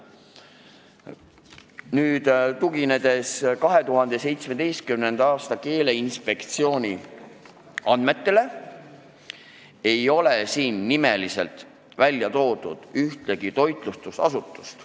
Tuginedes Keeleinspektsiooni 2017. aasta andmetele, ei ole nimeliselt välja toodud ühtegi toitlustusasutust.